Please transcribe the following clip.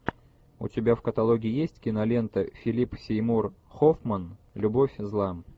у тебя в каталоге есть кинолента филип сеймур хоффман любовь зла